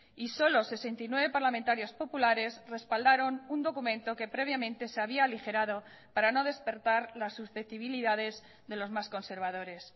y solo sesenta y nueve parlamentarios populares respaldaron un documento que previamente se había aligerado para no despertar las susceptibilidades de los más conservadores